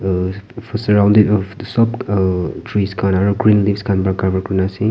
aa sorrounding tu sab aa trees khan aru green leaves khan para cover kuri na ase.